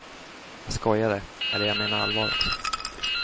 Jag skojade, eller jag menar allvar också.